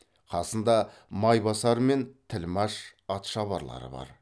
қасында майбасар мен тілмәш атшабарлары бар